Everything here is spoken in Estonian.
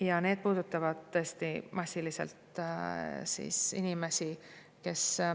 Ja need puudutavad tõesti inimesi.